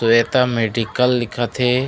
Shweta medical लिखत हे।